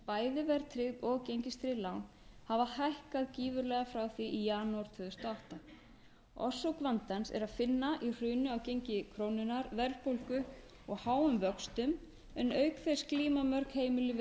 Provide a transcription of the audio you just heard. bæði verðtryggð og gengistryggð lán hafa hækkað gífurlega frá því í janúar tvö þúsund og átta orsök vandans er að finna í hruni á gengi krónunnar verðbólgu og háum vöxtum en auk þess glíma mörg heimili við